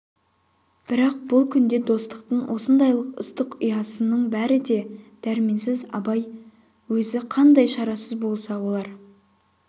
бірақ бұл күнде достықтың осындайлық ыстық ұясының бәрі де дәрменсіз абай өзі қандай шарасыз болса олар